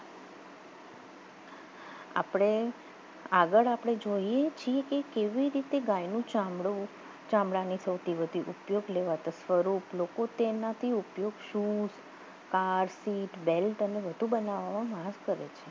આપણે આગળ આપણે જોઈએ છે કે કેવી રીતે ગાયને ગાયનું ચામડું ગાયનું ચામડાનું ઉપયોગ લેવા લોકો તેનાથી ઉપયોગ શું કાર શેઠ સીટ બેલ્ટ બધુ બનવા માં મદદ કરે છે